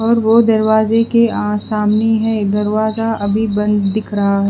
और वो दरवाजे के आसानी है दरवाजा अभी बंद दिख रहा--